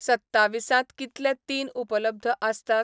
सत्तावीसांत कितले तीन उपलब्ध आसतात?